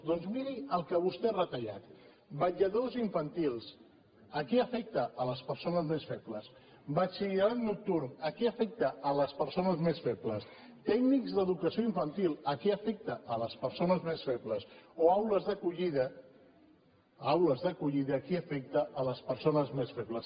doncs miri el que vostè ha retallat vetlladors infantils qui afecta les persones més febles batxillerat nocturn qui afecta les persones més febles tècnics d’educació infantil qui afecta les persones més febles o aules d’acollida aules d’acollida qui afecta les persones més febles